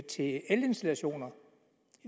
til elinstallationer